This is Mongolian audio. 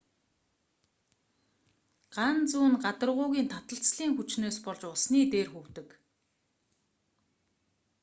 ган зүү нь гадаргуугийн таталцлын хүчнээс болж усны дээр хөвдөг